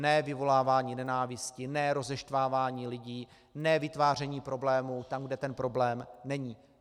Ne vyvolávání nenávisti, ne rozeštvávání lidí, ne vytváření problémů tam, kde ten problém není.